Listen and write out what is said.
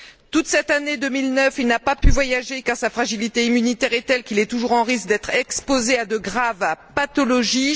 Toute cette année 2009, il n'a pas pu voyager car sa fragilité immunitaire est telle qu'il est toujours en risque d'être exposé à de graves pathologies.